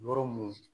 Yɔrɔ mun